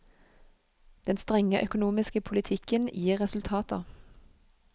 Den strenge økonomiske politikken gir resultater.